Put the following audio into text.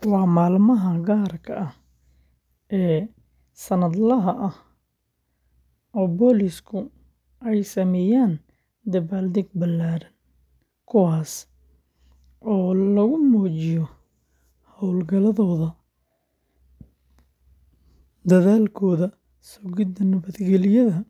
Waa maalmaha gaarka ah ee sannadlaha ah oo booliisku ay sameeyaan dabaaldeg ballaaran, kuwaasoo lagu muujiyo hawlgaladooda, dadaalkooda sugidda nabadgelyada,